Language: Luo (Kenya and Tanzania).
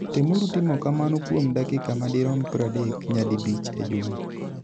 Temuru timo kamano kuom dakika madirom 30, nyadibich e juma.